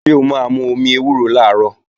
Ṣé o máa mú omi ewúro làárọ̀?